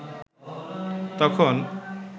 তখন